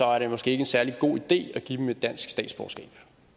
er det måske ikke en særlig god idé at give dem et dansk statsborgerskab